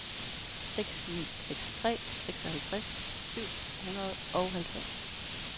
seks ni seks tre seksoghalvtreds syv hundrede og halvtreds